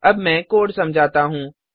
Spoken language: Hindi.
अब मैं कोड समझाता हूँ